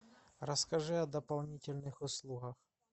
расскажи о дополнительных услугах